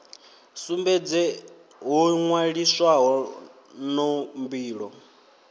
sumbedze ho nwaliswaho no mbilo